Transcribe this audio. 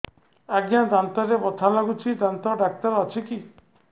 ଆଜ୍ଞା ଦାନ୍ତରେ ବଥା ଲାଗୁଚି ଦାନ୍ତ ଡାକ୍ତର ଅଛି କି